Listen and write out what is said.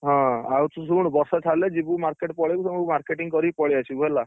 ହଁ, ଆଉ ତୁ ଶୁଣ ବର୍ଷା ଛାଡିଲେ ଯିବୁ market ପଳେଇବୁ ସବୁ marketing କରିକି ପଳେଇଆସିବୁ ହେଲା।